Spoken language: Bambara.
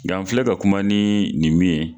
Bi an filɛ ka kuma ni nin min ye.